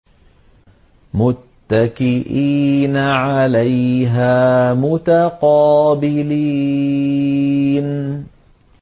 مُّتَّكِئِينَ عَلَيْهَا مُتَقَابِلِينَ